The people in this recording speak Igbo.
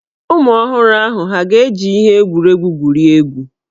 Ụmụ ọhụrụ ahụ hà ga-eji ihe egwuregwu egwuri egwu?